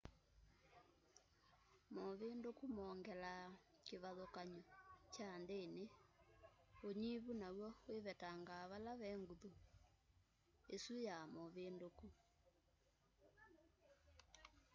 movinduku mongelaa kivathukany'o kya njini unyuvi naw'o wivetangaa vala ve nguthu isu ya movinduku